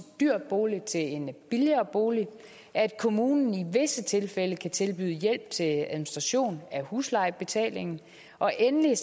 dyr bolig til en billigere bolig at kommunen i visse tilfælde kan tilbyde hjælp til administration af huslejebetaling og endelig